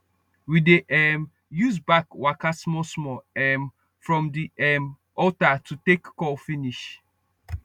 we dey um use back waka smallsmall um from the um altar to take call finish